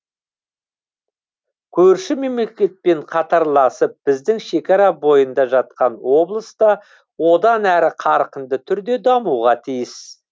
көрші мемлекетпен қатарласып біздің шекара бойында жатқан облыс та одан әрі қарқынды түрде дамуға тиіс